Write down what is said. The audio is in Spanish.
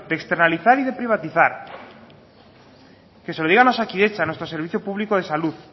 de externalizar y de privatizar que se lo digan a osakidetza nuestro servicio público de salud